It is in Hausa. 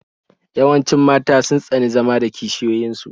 Yawancin mata sun tsani zama da kishiyoyin su